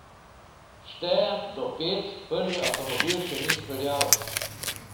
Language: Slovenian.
Štejem do pet, prvi avtomobil še ni speljal.